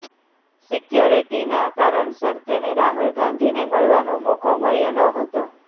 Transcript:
સિક્યોરિટીના કારણસર તેને રાહુલ ગાંધીને મળવાનો મોકો મળ્યો નહતો